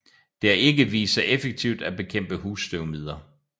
Det har ikke vist sig effektivt at bekæmpe husstøvmider